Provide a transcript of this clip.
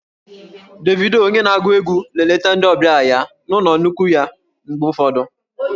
Davido onye na-agụ egwu na-eleta ndị ọbịa ya na ụlọ nnukwu ya mgbe ụfọdụ